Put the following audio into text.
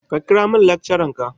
Ka kira min lecturer ka.